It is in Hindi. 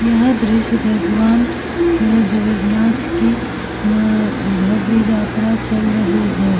यह दृश्य भगवान अ जगन्नाथ की अ भव्य यात्रा चल रही है।